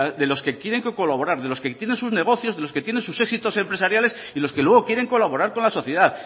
de los que quieren que colaborar de los que tienen sus negocios de los que tienen sus éxitos empresariales y los que luego quieren colaborar con la sociedad